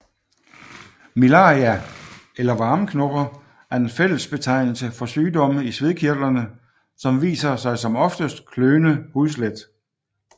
Miliaria eller varmeknopper er en fællesbetegnelse for sygdomme i svedkirtlerne som viser sig som oftest kløende hududslæt